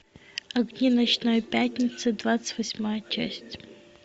огни ночной пятницы двадцать восьмая часть